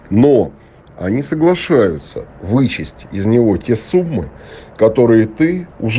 но они соглашаются вычесть из него те суммы которые ты уж